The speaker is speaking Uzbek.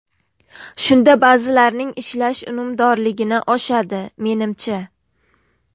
Shunda ba’zilarning ishlash unumdorligini oshadi, menimcha.